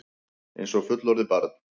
Einsog fullorðið barn.